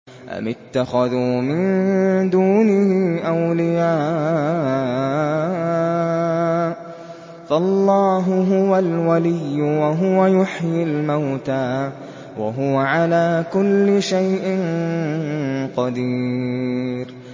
أَمِ اتَّخَذُوا مِن دُونِهِ أَوْلِيَاءَ ۖ فَاللَّهُ هُوَ الْوَلِيُّ وَهُوَ يُحْيِي الْمَوْتَىٰ وَهُوَ عَلَىٰ كُلِّ شَيْءٍ قَدِيرٌ